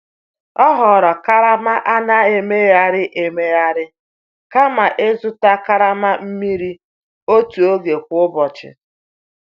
O họọrọ karama a na-emegharị emegharị kama ịzụta karama mmiri otu oge kwa ụbọchị.